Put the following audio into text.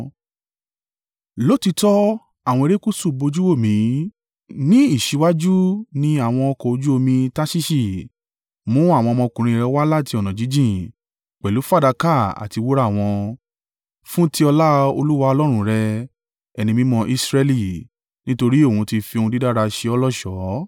Lóòtítọ́ àwọn erékùṣù bojú wò mí; ní ìṣíwájú ni àwọn ọkọ̀ ojú omi Tarṣiṣi; mú àwọn ọmọkùnrin rẹ̀ wá láti ọ̀nà jíjìn, pẹ̀lú fàdákà àti wúrà wọn, fún ti ọlá Olúwa Ọlọ́run rẹ, Ẹni Mímọ́ Israẹli, nítorí òun ti fi ohun dídára ṣe ó lọ́ṣọ̀ọ́.